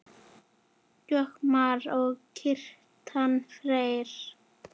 Jakob Már og Kjartan Freyr.